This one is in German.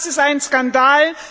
Das ist ein Skandal!